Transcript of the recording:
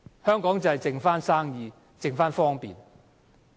香港只剩下生意、只剩下方便。